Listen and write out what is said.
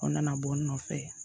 O nana bɔ n nɔfɛ